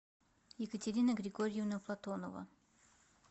екатерина григорьевна платонова